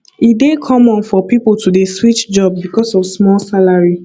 e dey common for pipo to dey switch job because of small salary